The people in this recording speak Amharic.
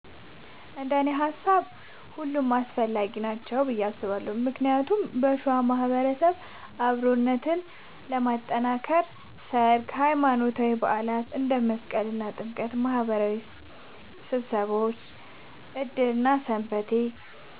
እንደኔ ሃሳብ ሁሉም አስፈላጊ ናቸው ብዬ አስባለሁ ምክንያቱም በሸዋ ማህበረሰብ ውስጥ አብሮነትን ለማጥከር ሠርግ፣ ሃይማኖታዊ በዓላት እንደ መስቀልና ጥምቀት እና ማህበራዊ ስብሰባዎች ዕድርና ሰንበቴ